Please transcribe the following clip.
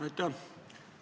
Aitäh!